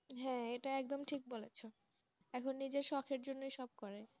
হ্যাঁ এটা একদম ঠিক বলেছো এখন নিজের শখের জন্য সব করে,